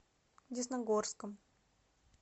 десногорском